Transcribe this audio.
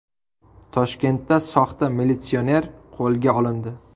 Toshkentda soxta militsioner qo‘lga olindi.